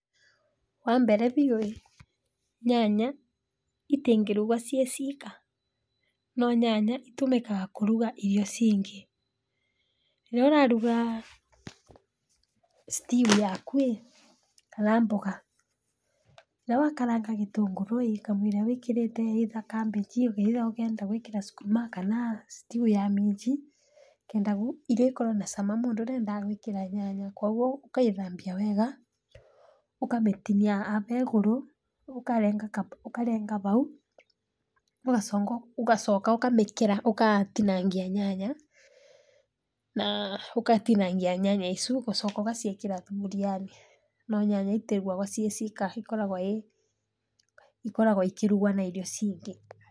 Wambere biũ nyanya citingĩrugwo cirĩ cika, no nyanya citũmĩkaga kũruga irio ici ingĩ. Rĩrĩa ũraruga stew yaku ĩ kana mboga, rĩrĩa wakaranga gĩtũngũrũ ĩ kamũira wĩkĩrĩte kabici kana ũrenda gwĩkĩra cukuma kana stew ya minji, nĩgetha irio ikorwo na cama mũndũ nĩendaga gwĩkĩra nyanya. Koguo ũgacithambia wega ũgacitinia haha igũrũ, ũkarenga hau, ũgacoka ũkamĩkera, kana ũgatinangia nyanya, ũgatinangia nyanya icu, ũgacoka ũgaciĩkĩra thaburia-inĩ. No nyanya citirugagwo ciĩ cika cikoragwo cikĩrugwo na irio cingĩ.